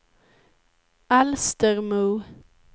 Alstermo